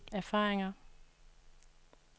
erfaringer